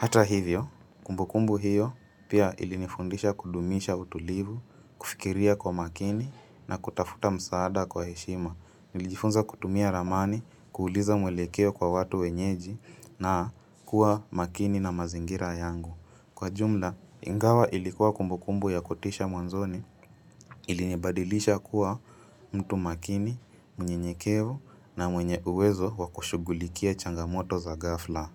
Hata hivyo, kumbukumbu hiyo pia ilinifundisha kudumisha utulivu, kufikiria kwa makini na kutafuta msaada kwa heshima. Nilijifunza kutumia ramani, kuuliza mwelekeo kwa watu wenyeji na kuwa makini na mazingira yangu. Kwa jumla, ingawa ilikuwa kumbukumbu ya kutisha mwanzoni ilinibadilisha kuwa mtu makini, mnyenyekevu na mwenye uwezo wa kushugulikia changamoto za ghafla.